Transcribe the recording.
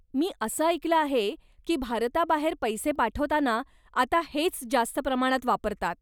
मी असं ऐकलं आहे की भारताबाहेर पैसे पाठवताना आता हेच जास्त प्रमाणात वापरतात?